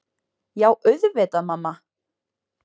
Já auðvitað mamma.